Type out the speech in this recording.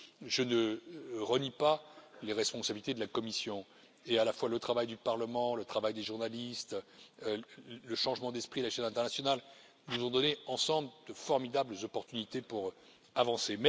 Je ne renie pas les responsabilités de la Commission, et à la fois le travail du Parlement, le travail des journalistes, le changement d'esprit sur la scène internationale, nous ont donné ensemble de formidables opportunités pour avancer.